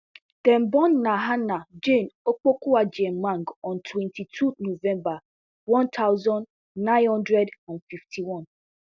dem born nahana jane opokuagyemang on twenty-two november one thousand, nine hundred and fifty-one